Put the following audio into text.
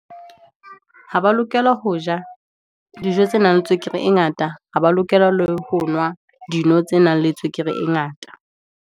Ha ba lokela ho ja, dijo tse nang le tswekere e ngata, ha ba lokela le ho nwa, dino tse nang le tswekere e ngata.